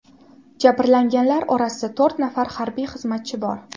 Jabrlanganlar orasida to‘rt nafar harbiy xizmatchi bor.